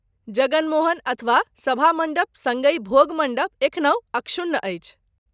जगन मोहन, अथवा, सभा मण्डप सङ्गहि भोग मण्डप एखनहु अक्षुण्ण अछि।